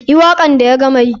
Yi wakan da ya gama yi.